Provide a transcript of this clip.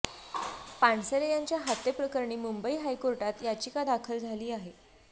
पानसरे यांच्या हत्येप्रकरणी मुंबई हायकोर्टात याचिका दाखल झाली आहे